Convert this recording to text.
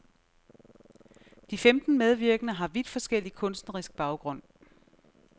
De femten medvirkende har vidt forskellig kunstnerisk baggrund.